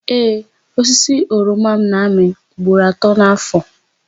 Ee, osisi oroma m na-amị ugboro atọ n'áfọ̀.